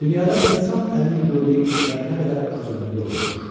Dünyada insan əlinin gördüyü işlər nə qədər az ömürlü olurmuş.